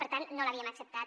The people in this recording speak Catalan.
per tant no l’havíem acceptat